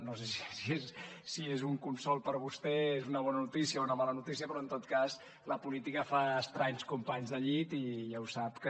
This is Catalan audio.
no sé si és un consol per a vostè és una bona notícia o una mala notícia però en tot cas la política fa estranys companys de llit i ja ho sap que